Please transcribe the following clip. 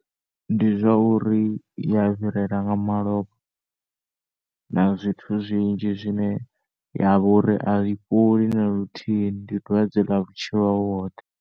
Ndi zwa uri iya fhirela nga malofha na zwithu zwinzhi zwine ya vhori ai fholi naluthihi ndi dwadze ḽa vhutshilo hau hoṱhe.